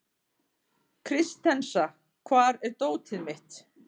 Kristensa, hvar er dótið mitt?